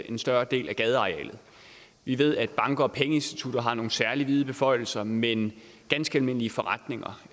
en større del af gadearealet vi ved at banker og pengeinstitutter har nogle særlig vide beføjelser men ganske almindelige forretninger